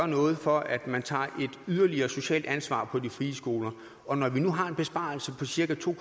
noget for at man tager et yderligere socialt ansvar på de frie skoler og når vi nu har en besparelse på cirka to